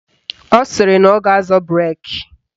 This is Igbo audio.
Ọ sịrị na ọ ga-azọ breki